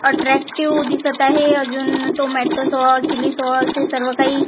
attractive दिसत आहे अजून टोमॅटो सॉस चिली सॉस हे सर्व काही--